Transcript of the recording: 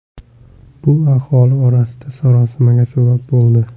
Bu aholi orasida sarosimaga sabab bo‘ldi.